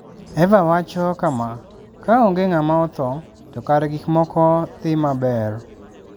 Eva wacho kama: "Ka onge ng'ama otho, to kare gik moko dhi maber.